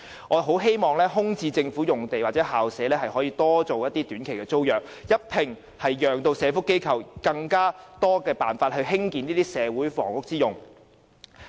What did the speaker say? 我十分希望這些空置政府用地或校舍可以短期租約形式出租，讓社福機構有更多單位可作社會房屋之用。